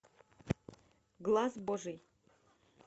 глас божий